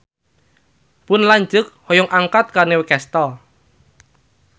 Pun lanceuk hoyong angkat ka Newcastle